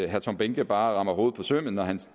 herre tom behnke bare rammer hovedet på sømmet når han selv